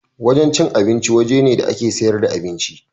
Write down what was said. Wajen cin abinci waje ne da ake siyar da abinci.